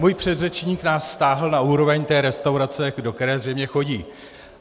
Můj předřečník nás stáhl na úroveň té restaurace, do které zřejmě chodí.